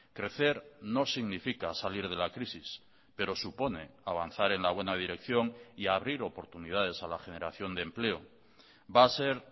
crecer no significa salir de la crisis pero supone avanzar en la buena dirección y abrir oportunidades a la generación de empleo va a ser